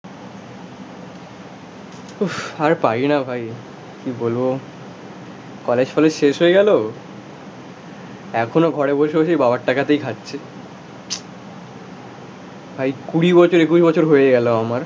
উফ আর পারি না ভাই কি বলবো? কলেজ ফলেজ শেষ হয়ে গেলো? এখনো ঘরে বসে বসেই বাবার টাকাতেই খাচ্ছে. ভাই কুড়ি বছর একুশ বছর হয়ে গেলো আমার